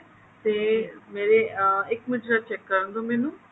ਤੇ ਮੇਰੇ ਆਹ ਇੱਕ ਮਿੰਟ ਜਰਾ check ਕਰਨ ਦੋ ਮੈਨੂੰ